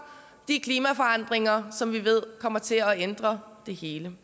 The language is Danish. de klimaforandringer som vi ved kommer til at ændre det hele